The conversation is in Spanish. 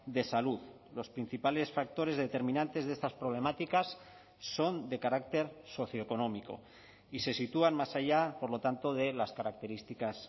de salud los principales factores determinantes de estas problemáticas son de carácter socioeconómico y se sitúan más allá por lo tanto de las características